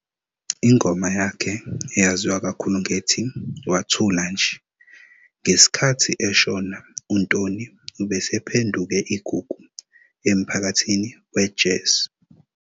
Ingoma yakhe eyaziwa kakhulu ngethi "Wathula nje". Ngesikhathi eshona uNtoni ubesephenduke igugu emphakathini we-jazz.